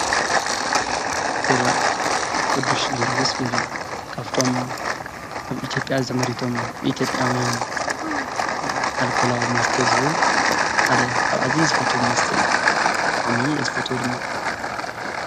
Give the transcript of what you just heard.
ቢራ፦ ቅዱስ ጊዮርግስ ቢራ ካብቶም ኣብ ኢትዮጵያ ተመሪቶም ንኢትዮጵያውን ኣልኮላዊ መስተ ዝህቡ ሓደ ካብ ኣዝዩ ዝፈትዎ መስተ እዩ፡፡ ብጣዕሚ እየ ዝፈትዎ ድማ፡፡